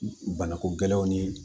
Banako gɛlɛnw ni